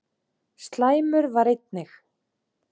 Slæmur var einnig